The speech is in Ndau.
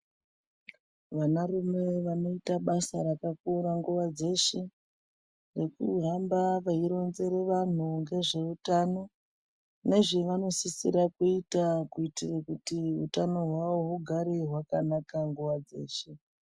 Vana rume vanoita basa rakakura nguva dzeshe, nekuhamba veizinzere vantu nezveutano. Nezvevanosisira kuita kuitira kuti hutano hwavo hugare hwakanaka nguva dzeshe.